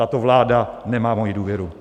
Tato vláda nemá moji důvěru.